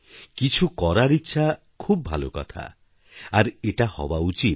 কিছু করার ইচ্ছাখুব ভালো কথা আর এটা হওয়া উচিত